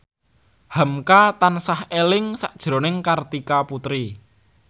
hamka tansah eling sakjroning Kartika Putri